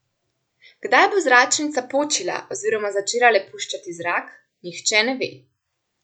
Kdaj bo zračnica počila oziroma začela le puščati zrak, nihče ne ve.